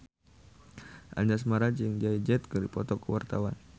Anjasmara jeung Jay Z keur dipoto ku wartawan